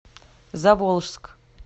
заволжск